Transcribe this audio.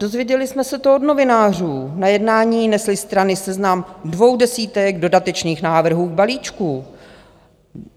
Dozvěděli jsme se to od novinářů, na jednání nesly strany seznam dvou desítek dodatečných návrhů k balíčku.